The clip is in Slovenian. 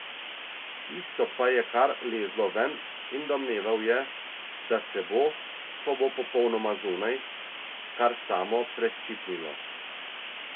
Tisto pa je kar lezlo ven in domneval je, da se bo, ko bo popolnoma zunaj, kar samo preščipnilo.